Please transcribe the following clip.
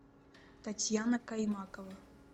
татьяна каймакова